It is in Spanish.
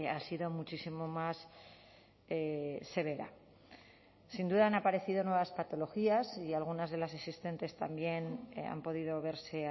ha sido muchísimo más severa sin duda han aparecido nuevas patologías y algunas de las existentes también han podido verse